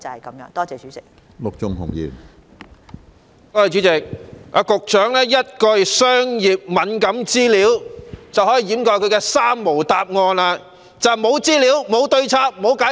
局長在主體答覆中以一句"商業敏感資料"，便掩飾了她的"三無"答覆，即是無資料、無對策、無解釋。